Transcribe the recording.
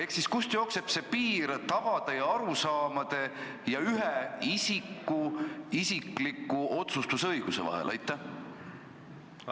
Kust ikkagi jookseb piir tavade ja ühe isiku isikliku otsustusõiguse vahel?